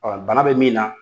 Ɔ bana bɛ min na